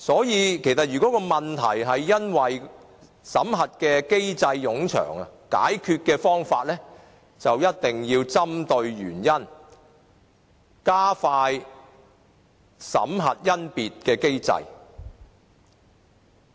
因此，如果問題是因為審核機制冗長，解決的方法就一定要針對原因，加快審核甄別的機制。